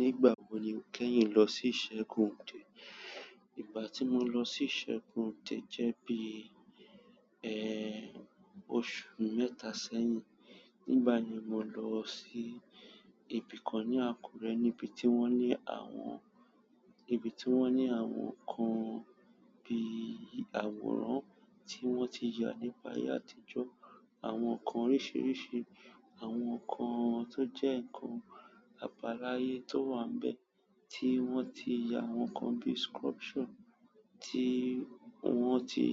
Nígbà wo ni o kẹ́yìn lọ sí ìṣẹ́gun de? Ìgbà tí mo lọ sí ìṣẹ́gun de jẹ́ bí, ẹ, oṣù mẹ́ta sẹ́yìn. Nígbà yíì mo lọ sí ibi kan ní Àkúrẹ́ níbi tí wọ́n ní àwọn, níbi tí wọ́n ní àwọn ǹkan bí àwòrán tí wọ́n ti yà nígbà ayé àtijọ́, àwọn ǹkan oríṣìíríṣìí, àwọn ǹkan tó jẹ́ ǹkan àbàlàyé tó wà nbẹ̀ tí wọ́n ti yà, àwọn ǹkan bí sculpture ti won ti